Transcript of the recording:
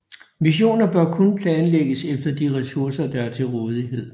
Missioner bør kun planlægges efter de ressourcer der er tilrådighed